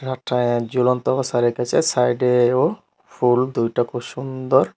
সাইডেও ফুল দুইট খুব সুন্দর।